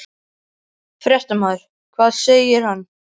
Fréttamaður: Hvað segir hann?